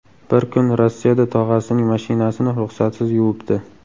Bir kun Rossiyada tog‘asining mashinasini ruxsatsiz yuvibdi.